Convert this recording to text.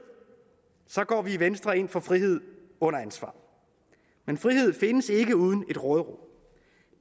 går vi i venstre ind for frihed under ansvar men frihed findes ikke uden et råderum